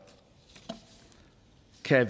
kan